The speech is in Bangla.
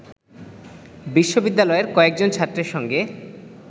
বিশ্ববিদ্যালয়েরকয়েকজন ছাত্রের সঙ্গে